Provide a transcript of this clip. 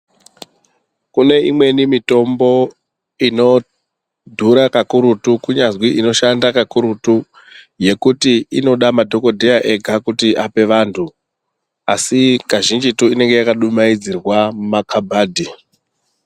Kune imweni mitombo inodhura kakurutu kunyazi inoshanda kakurutu yekuti inoda madhogodheya ega ape vantu asi kazhinjitu inenga yakadumaidzirwa mumakabhadhi.